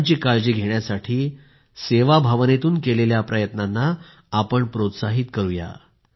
इतरांची काळजी घेण्यासाठी सेवाभावनेतून केलेल्या प्रयत्नांना प्रोत्साहित करूया